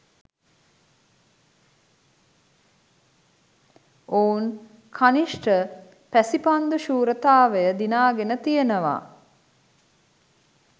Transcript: ඔවුන් කනිෂ්ඨ පැසිපන්දු ශූරතාවය දිනාගෙන තියෙනවා.